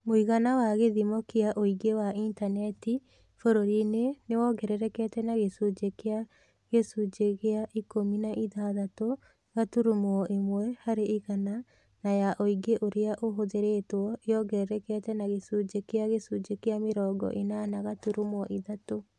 Mũigana wa gĩthimo kĩa ũingĩ wa Intaneti bũrũriinĩ nĩ wogererekete na gĩcunjĩ kĩa gĩcunjĩ gĩa ikũmi na ithathatũ gaturumo ĩmwe harĩ igana na ya ũingĩ ũrĩa ũhũthĩrĩtwo ĩongererekete na gĩcunjĩ kĩa gĩcunjĩ kĩa mĩrongo ĩnana gaturumo ithatũ.